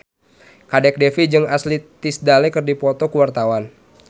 Kadek Devi jeung Ashley Tisdale keur dipoto ku wartawan